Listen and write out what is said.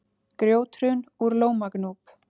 Grjóthrun úr Lómagnúp